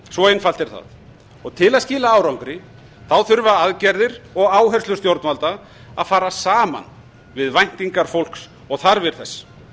svo einfalt er það til að skila árangri þurfa aðgerðir og áherslur stjórnvalda að fara saman við væntingar fólks og þarfir þess